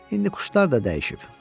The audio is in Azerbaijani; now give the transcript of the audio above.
İndi quşlar da dəyişib.